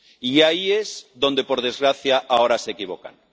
Y ahí es donde, por desgracia, ahora se equivocan.